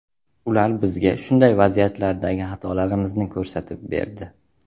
Ular bizga shunday vaziyatlardagi xatolarimizni ko‘rsatib berdi.